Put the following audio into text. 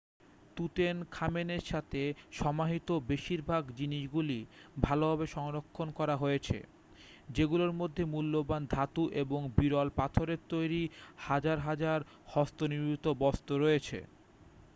তুতেনখামেনের সাথে সমাহিত বেশিরভাগ জিনিসগুলি ভালভাবে সংরক্ষণ করা হয়েছে যেগুলোর মধ্যে মূল্যবান ধাতু এবং বিরল পাথরের তৈরি হাজার হাজার হস্তনির্মিত বস্তু রয়েছে